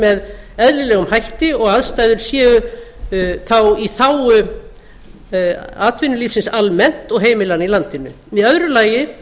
með eðlilegum hætti og aðstæður séu þá í þágu atvinnulífsins almennt og heimilanna í landinu í öðru lagi